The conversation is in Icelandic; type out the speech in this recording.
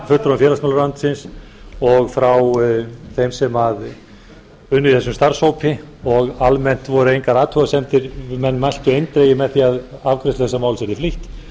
fulltrúum félagsmálaráðuneytisins og frá þeim sem unnu í þessum starfshópi og almennt voru engar athugasemdir menn mæltu eindregið með því að afgreiðslu þessa máls yrði flýtt